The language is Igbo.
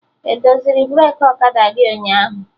Edoziri breki ọkada gị ụnyaahụ?